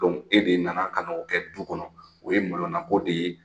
e de nana ka na o kɛ du kɔnɔ, o ye malonako de ye